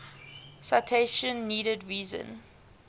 citation needed reason